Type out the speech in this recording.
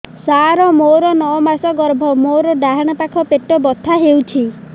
ସାର ମୋର ନଅ ମାସ ଗର୍ଭ ମୋର ଡାହାଣ ପାଖ ପେଟ ବଥା ହେଉଛି